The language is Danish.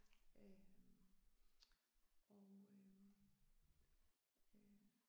Øh og øh